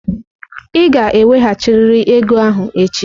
Ị ga-eweghachirịrị ego ahụ echi!